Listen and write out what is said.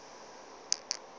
ke yeo e bego e